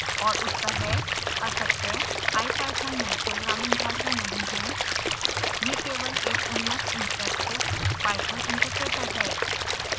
और उत्तर हैं असत्य ipython नई प्रोग्रामिंग भाषा नहीं है यह केवल एक उन्नत इंटरैक्टिव python interpreter है